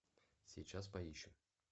сейчас поищу